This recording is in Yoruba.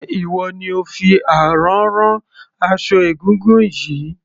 Ṣé ìwọ ni ò fi àrán rán aṣọ egúngún yìí?